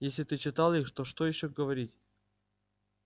если ты читал их то что ещё говорить